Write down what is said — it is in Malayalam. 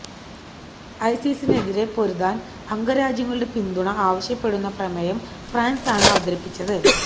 ഐസിസിനെതിരെ പൊരുതാൻ അംഗരാജ്യങ്ങളുടെ പിന്തുണ ആവശ്യപ്പെടുന്ന പ്രമേയം ഫ്രാൻസാണ് അവതരിപ്പിച്ചത്